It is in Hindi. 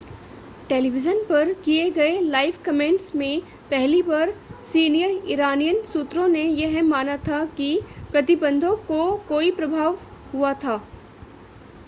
टेलीविज़न पर किए गए लाइव कमेंट्स में पहली बार सीनियर इरानियन सूत्रों ने यह माना था कि प्रतिबंधों को कोई प्रभाव हुआ था